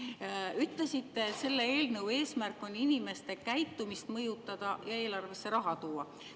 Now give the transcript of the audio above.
Te ütlesite, et selle eelnõu eesmärk on inimeste käitumist mõjutada ja eelarvesse raha tuua.